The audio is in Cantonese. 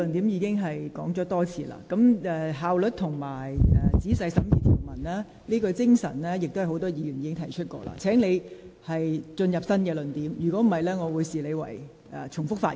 有關效率和仔細審議條文的精神，剛才已有多位議員提及，請你提出新的論點，否則我會視之為重複發言。